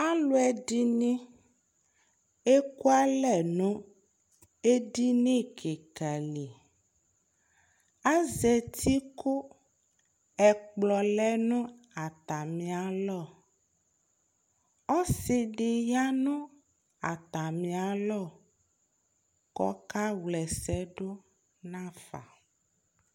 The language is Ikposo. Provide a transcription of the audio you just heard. aluɛdɩnɩ ekualɛ nu edini kɩka li azetɩ nu ɛkplɔava ɔsi dɩ ya nu atamialɔ ku ɔka wlɛsɛdu nafa